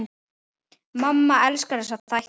Mamma elskar þessa þætti.